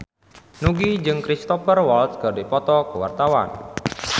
Nugie jeung Cristhoper Waltz keur dipoto ku wartawan